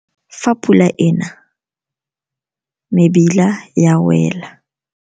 Fa pula ena mebila ya wela.